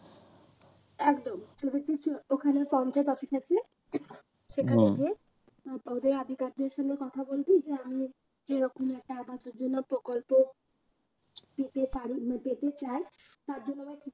একদম যদি ওখানে পঞ্চায়েত office আছে ওদের সঙ্গে কথা বলবি যে আমি এরকম একটা আবাসের জন্য প্রকল্প পেতে পারি পেতে চায় তার জন্য আমাকে কি কি